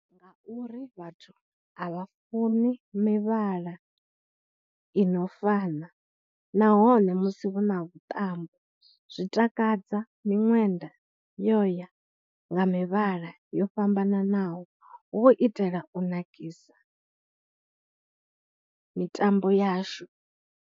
Nga uri vhathu a vha funi mivhala ino fana nahone musi vhu na vhuṱambo zwi takadza miṅwenda yo ya nga mivhala yo fhambananaho hu u itela u nakisa mitambo yashu.